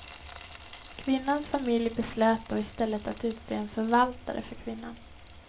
Kvinnans familj beslöt då i stället att utse en förvaltare för kvinnan.